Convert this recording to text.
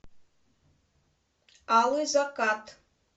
алый закат